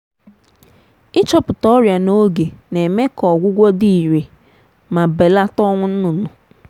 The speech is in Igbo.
ịchọpụta ọrịa n’oge na-eme ka ọgwụgwọ dị irè ma belata ọnwụ nnụnụ.